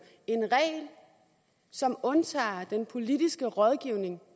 en regel som undtager den politiske rådgivning